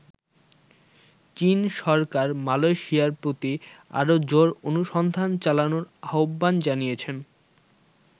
চীন সরকার মালয়েশিয়ার প্রতি আরো জোর অনুসন্ধান চালানোর আহ্বান জানিয়েছে।